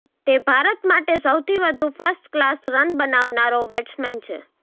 તે ભારત માટે સૌથી વધુ ફર્સ્ટ ક્લાસ રન બનાવનારો બેટ્સમેન છે